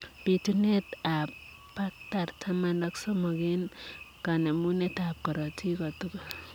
Pituneet ap paktar taman ak somok eng kanemuneet ap korotik kotugul